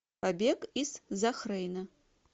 побег из захрейна